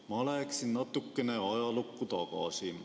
Ma läheksin natuke ajalukku tagasi.